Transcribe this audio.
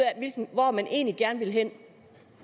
hvor man egentlig gerne vil hen